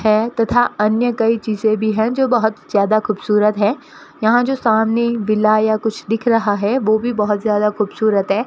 है तथा अन्य कई चीजे भी है जो बहुत ज्यादा खूबसूरत है यहां जो सामने बिल आया कुछ लिख रहा है वह भी बहुत ज्यादा खूबसूरत है।